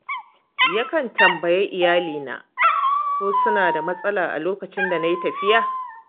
Yakan tambayi iyalina ko suna da matsala a lokacin da na yi tafiya.